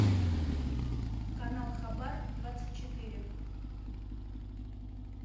канал хабар двадцать четыре